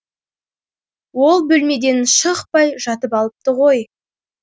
ол бөлмеден шықпай жатып алыпты ғой